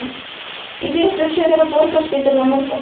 Ég hringdi suður á Borgarspítalann í morgun.